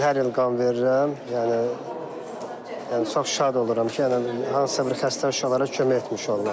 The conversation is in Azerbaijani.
Mən hər il qan verirəm, yəni çox şad oluram ki, yəni hansısa bir xəstə uşaqlara kömək etmiş oluram.